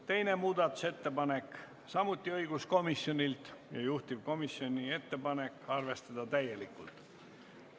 Teine muudatusettepanek on samuti õiguskomisjonilt ja juhtivkomisjoni ettepanek on arvestada seda täielikult.